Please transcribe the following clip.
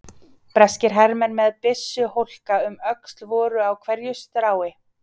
Breskir hermenn með byssuhólka um öxl voru á hverju strái.